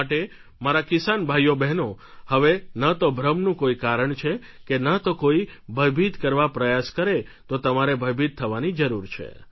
માટે મારા કિસાન ભાઈઓબહેનો હવે ન તો ભ્રમનું કોઈ કારણ છે કે ન તો કોઈ ભયભીત કરવા પ્રયાસ કરે તો તમારે ભયભીત થવાની જરૂર છે